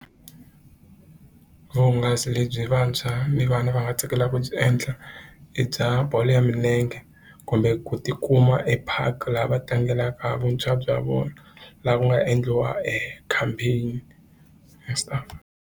Vuhungasi lebyi vantshwa ni vana va nga tsakelaka ku byi endla i bya bolo ya milenge kumbe ku tikuma e park laha va tlangelaka vuntshwa bya vona laha ku nga endliwa e campaign .